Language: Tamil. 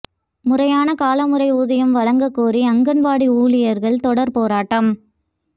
முறையான காலமுறை ஊதியம் வழங்க கோரி அங்கன்வாடி ஊழியர்கள் தொடர் போராட்டம்